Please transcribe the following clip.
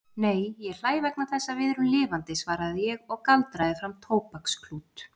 Nei, ég hlæ vegna þess að við erum lifandi svaraði ég og galdraði fram tóbaksklút.